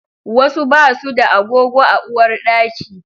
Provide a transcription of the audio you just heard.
Wasu basu da agogo a uwarɗaki